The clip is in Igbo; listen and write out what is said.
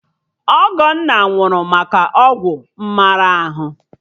Ọgọnna nwụrụ maka ọgwụ mmara ahụ